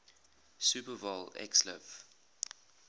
super bowl xliv